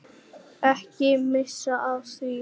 Ekki missa af því.